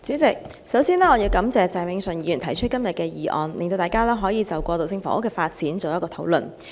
主席，首先，我要感謝鄭泳舜議員提出今天的議案，讓大家可就過渡性房屋的發展作討論。